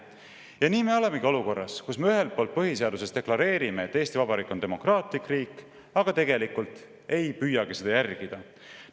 Ja nii me olemegi olukorras, kus me ühelt poolt põhiseaduses deklareerime, et Eesti Vabariik on demokraatlik riik, aga tegelikult ei püüagi seda järgida.